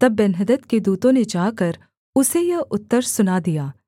तब बेन्हदद के दूतों ने जाकर उसे यह उत्तर सुना दिया